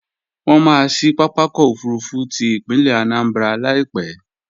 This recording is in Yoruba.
Wọ́n maá ṣí pápákọ̀ òfurufú ti ìpínlẹ̀ Anambra Láìpẹ́